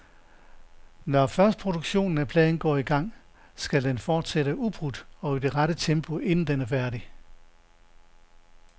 Når først produktionen af pladen går i gang, skal den fortsætte ubrudt og i det rette tempo, indtil den er færdig.